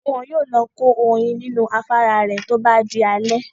Wọn yóò lọ kó oyin nínú afárá rẹ̀ tó bá di alẹ́